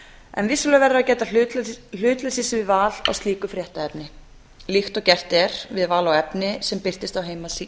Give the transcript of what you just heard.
en vissulega verður að gæta hlutleysis við val á slíku fréttaefni líkt og gert er við val á efni sem birtist á heimasíðu